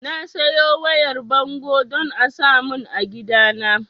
Na sayo wayar bango don a samun a gidana